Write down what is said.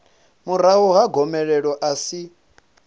murahu ha gomelelo a si